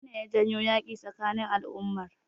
Menene ya janyo yaƙi tsakanin al'ummar?